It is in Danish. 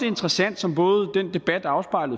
interessant som både den debat